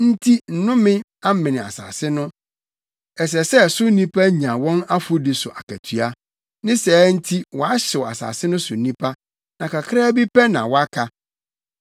Enti nnome amene asase no ɛsɛ sɛ so nnipa nya wɔn afɔdi so akatua ne saa nti wɔahyew asase no so nnipa, na kakraa bi pɛ na wɔaka.